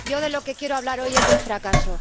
Yo de lo que quiero hablar hoy es de un fracaso.